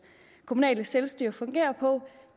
kommunale selvstyre fungerer på